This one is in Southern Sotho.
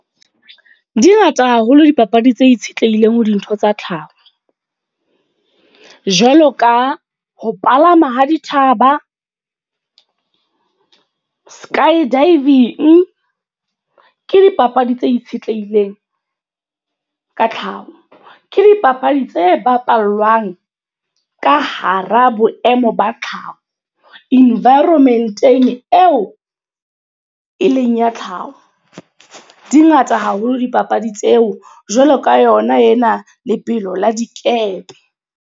Di ngata haholo dipapadi tse itshetlehileng ho dintho tsa tlhaho. Jwalo ka, ho palama ho dithaba sky-diving. Ke dipapadi tse itshetlehileng ka tlhaho. Ke dipapadi tse bapalwang ka hara boemo ba tlhaho. Environment-eng eo e leng ya tlhaho. Di ngata haholo dipapadi tseo. Jwalo ka yona ena, lebelo la dikepe.